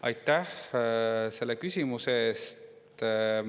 Aitäh selle küsimuse eest!